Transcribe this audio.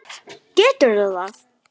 Geturðu það?